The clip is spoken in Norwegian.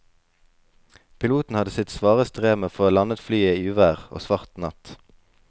Piloten hadde sitt svare strev med å få landet flyet i uvær og svart natt.